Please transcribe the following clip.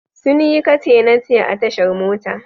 Sun yi kace-nace a tashar mota.